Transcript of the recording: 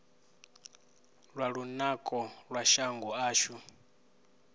lwa lunako lwa shango ashu